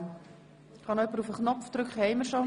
Wir kommen zu Artikel 11 Absatz 1.